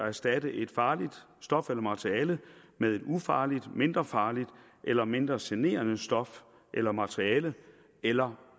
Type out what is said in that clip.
erstatte et farligt stof eller materiale med et ufarligt mindre farligt eller mindre generende stof eller materiale eller